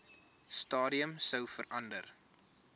stadium sou verander